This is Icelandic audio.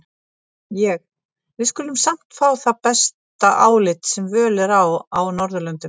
Ég: við skulum samt fá það besta álit, sem völ er á á Norðurlöndum.